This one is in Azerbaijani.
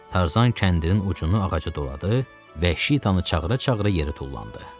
Tarzan kəndinin ucunu ağaca doladı, vəhşi Şitanı çağıra-çağıra yerə tullandı.